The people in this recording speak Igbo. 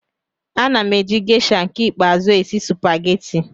Ana m eji Gesha nke ikpeazụ esi supageti.